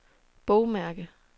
bogmærke